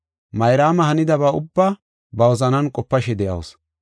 Mayraama hanidaba ubbaa ba wozanan qopashe de7asu.